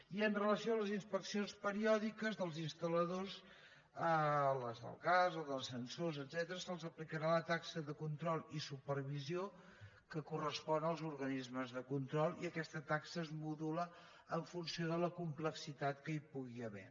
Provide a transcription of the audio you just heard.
i amb relació a les inspeccions periòdiques dels instal·ladors les del gas ascensor etcètera se’ls aplicarà la taxa de control i supervisió que correspon als organismes de control i aquesta taxa es modula en funció de la complexitat que hi pugui haver